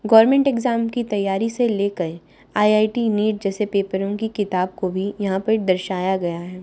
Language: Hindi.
गवर्नमेंट इग्जाम की तैयारी से लेकर आई_आई_टी नीट जैसे पेपरों की किताब को भी यहां पे दर्शाया गया है।